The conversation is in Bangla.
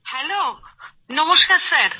হ্যালো নমস্কার স্যার